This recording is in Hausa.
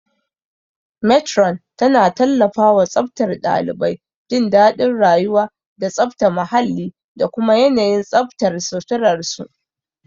Matron tana tallafawa tsaftar ɗalibai, jin daɗin rayuwa, da tsafta muhalli da kuma yanayin tsaftar suturar su.